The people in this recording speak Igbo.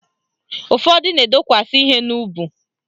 Ụfọdụ na-edokwasi ihe n'ubu